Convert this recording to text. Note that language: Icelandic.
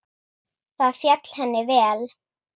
Það féll henni vel.